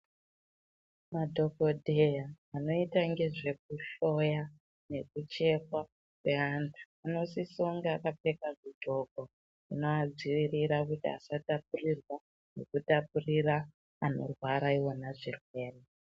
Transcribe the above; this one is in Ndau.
Madhokodheya anoite ngezvekuhloya nekuchekwa kweantu, anosise kunge akapfeka zviqgoko zvinoadzivirira kuti asatapurirwa, nekutapurira anorwara yona zvirwere.